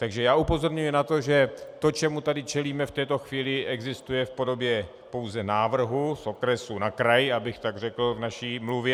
Takže já upozorňuji na to, že to, čemu tady čelíme v této chvíli, existuje v podobě pouze návrhu z okresu na kraj, abych tak řekl v naší mluvě.